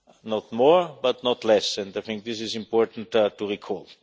Not more, but not less, and I think this is important to recall.